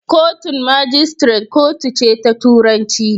Kotun magistrate kotu ce ta turanci.